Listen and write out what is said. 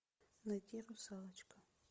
найти русалочка